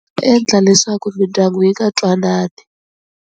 Endla leswaku mindyangu yi nga twanani.